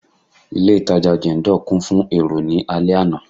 Ilé itàjà Jendol kún fún èrò ní alẹ àná.